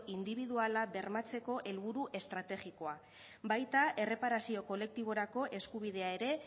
indibiduala bermatzeko helburu estrategikoa baita erreparazio kolektiborako eskubidea ere